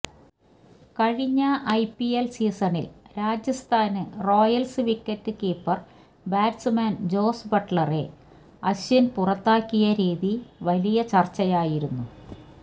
കഴിഞ്ഞ ഐപിഎല് സീസണില് Rajasthan Royals wicket keeper batsman Jos ബട്ട്ലറെ അശ്വിന് പുറത്താക്കിയ രീതി വലിയ ചര്ച്ചയായിരുന്നു